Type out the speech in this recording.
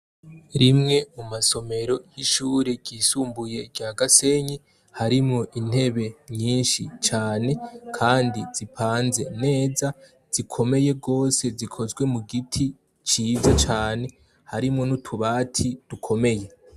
Rimwe mu masomero y' ishure ryisumbuye rya Gasenyi, harimwo intebe nyinshi cane kandi zipanze neza, zikomeye gose zikozwe mu giti ciza cane, harimwo n' utubati dukomeye.